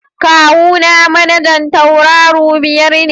Kawuna manajan tauraru biyar ne.